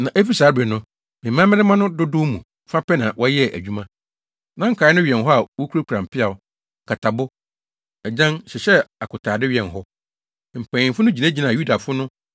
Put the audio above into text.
Na efi saa bere no, me mmarima no dodow mu fa pɛ na wɔyɛɛ adwuma, na nkae no wɛn hɔ a wokurakura mpeaw, nkatabo, agyan, hyehyɛɛ akotade wɛn hɔ. Mpanyimfo no gyinagyinaa Yudafo no a